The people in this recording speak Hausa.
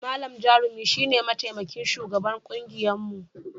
Malam Jarumi shi ne mataimakin shugaban kungiyarmu.